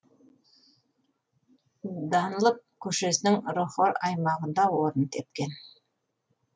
данлоп көшесінің рохор аймағында орын тепкен